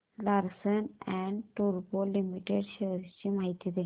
Larsen and टुर्बो limited shares ची माहिती दे